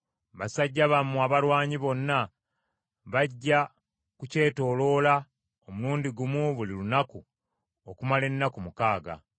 Basajja bammwe abalwanyi bonna bajja ku kyetooloolanga omulundi gumu buli lunaku okumala ennaku mukaaga.